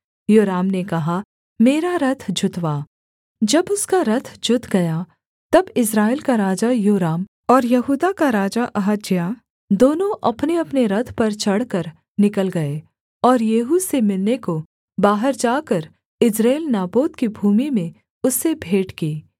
योराम ने कहा मेरा रथ जुतवा जब उसका रथ जुत गया तब इस्राएल का राजा योराम और यहूदा का राजा अहज्याह दोनों अपनेअपने रथ पर चढ़कर निकल गए और येहू से मिलने को बाहर जाकर यिज्रेल नाबोत की भूमि में उससे भेंट की